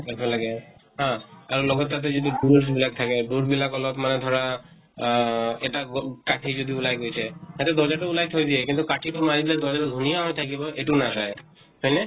ৰাখিব লাগে । হা । আৰু লগত তাতে যাতে বুৰুচ বিলাক থাকে , বুৰুচ বিলাক অলপ্মান ধৰা আ এটা গ কাটি যদি ওলাই গৈছে, সেইটো দৰ্জা তো উলাই থৈ দিয়ে কিন্তু কাঠি তো মাৰিলে দৰ্জা তো ধুনীয়া হৈ থাকিব, এইটো নাচাই । হয় নে ?